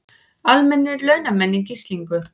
Almennir launamenn í gíslingu